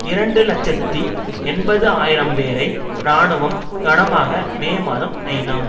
இரண்டு இலட்சத்தி எண்பது ஆயிரம் பேரை இராணுவம் கனமாக மே மாதம் ஐநா